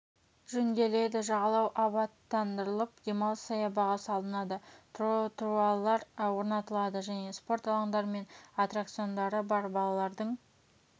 жөнделеді жағалау абаттандырылып демалыс саябағы салынады тротуарлар орнатылады және спорт алаңдары мен аттракциондары бар балалардың